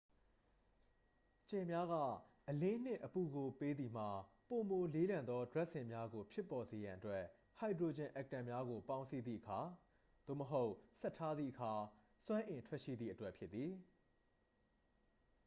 ကြယ်များက အလင်းနှင့် အပူကို ပေးသည်မှာ ပိုမိုလေးလံသော ဒြပ်စင်များကို ဖြစ်ပေါ်စေရန်အတွက် ဟိုက်ဒရိုဂျင်အက်တမ်များကို ပေါင်းစည်းသည့်အခါ သို့မဟုတ် ဆက်ထားသည့်အခါ စွမ်းအင်ထွက်ရှိသည့်အတွက်ဖြစ်သည်။